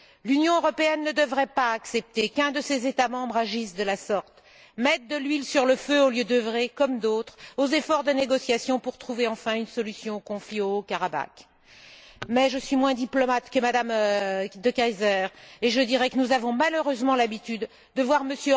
L'Union européenne ne devrait pas accepter qu'un de ses États membres agisse de la sorte mettre de l'huile sur le feu au lieu d'œuvrer, comme d'autres, aux efforts de négociation pour trouver enfin une solution au conflit au Haut Karabakh. Je suis moins diplomate que Mme De Keyser, et je dirais que nous avons malheureusement l'habitude de voir M.